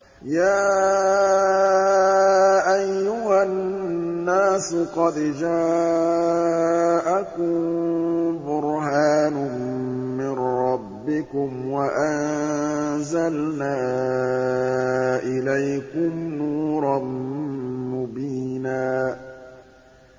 يَا أَيُّهَا النَّاسُ قَدْ جَاءَكُم بُرْهَانٌ مِّن رَّبِّكُمْ وَأَنزَلْنَا إِلَيْكُمْ نُورًا مُّبِينًا